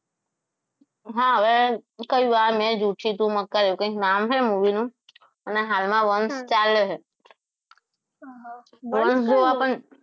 હા હવે કયું આ મે જુઠી તું મકકાર એવું કંઈક નામ હે movie નું પણ હાલમાં વંશ ચાલે છે વંશ જોવા પણ